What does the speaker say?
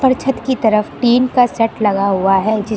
छत की तरफ टीन का सेट लगा हुआ है जिस--